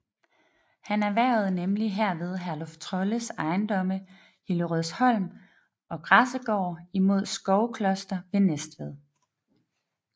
Han erhvervede nemlig herved Herluf Trolles ejendomme Hillerødsholm og Græsegård imod Skovkloster ved Næstved